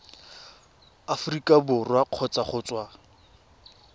aforika borwa kgotsa go tswa